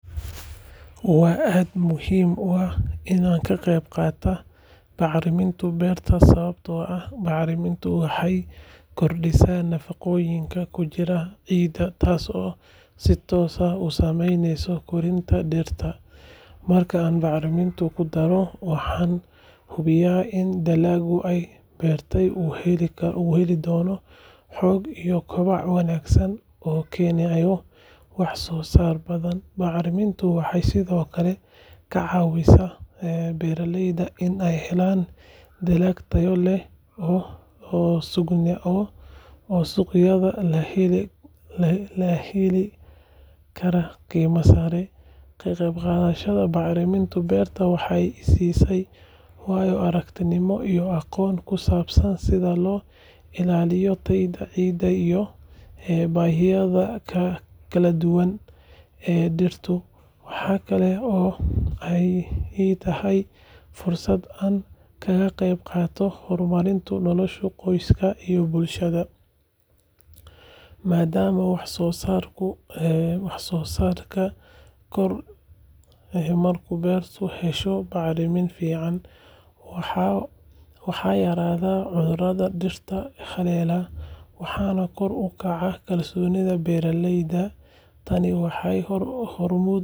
Waxaa aad muhiim ii ah in aan ka qayb qaato bacriminta beerta sababtoo ah bacrimintu waxay kordhisaa nafaqooyinka ku jira ciidda taasoo si toos ah u saameyneysa koritaanka dhirta. Marka aan bacriminta ku daro, waxaan hubinayaa in dalagga aan beertay uu heli doono xoog iyo koboc wanaagsan oo keenaya wax soo saar badan. Bacriminta waxay sidoo kale ka caawisaa beeralayda in ay helaan dalag tayo leh oo suuqyada ka heli kara qiime sare. Ka qayb qaadashada bacriminta beerta waxay i siisay waayo-aragnimo iyo aqoon ku saabsan sida loo ilaaliyo tayada ciidda iyo baahiyaha kala duwan ee dhirta. Waxa kale oo ay ii tahay fursad aan kaga qeyb qaato horumarinta nolosha qoyskayga iyo bulshadayda, maadaama wax soo saarku kordho. Marka beertu hesho bacrin fiican, waxaa yaraada cudurrada dhirta haleela, waxaana kor u kacda kalsoonida beeralayda. Tani waxay hormut.